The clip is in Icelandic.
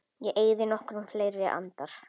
Ég eyði nokkrum fleiri andar